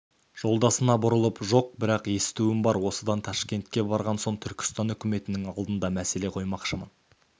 жолдасына бұрылып жоқ бірақ естуім бар осыдан ташкентке барған соң түркістан үкіметінің алдына мәселе қоймақшымын